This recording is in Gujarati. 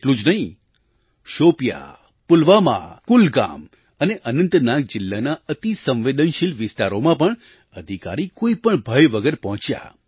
એટલું જ નહીં શોપિયાં પુલવામા કુલગામ અને અનંતનાગ જિલ્લાના અતિ સંવેદનશીલ વિસ્તારોમાં પણ અધિકારી કોઈ પણ ભય વગર પહોંચ્યા